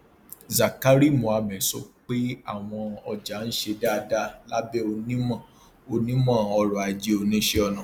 zakari mohammed sọ pé àwọn ọjà ń ṣe dáadáa lábẹ onímọ onímọ ọrọ ajé oníṣẹ ọnà